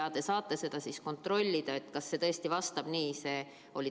Te saate kontrollida, kas see vastab tõele.